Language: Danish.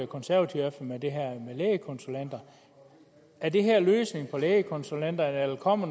konservative om er det her med lægekonsulenter er det her løsningen på lægekonsulenterne eller kommer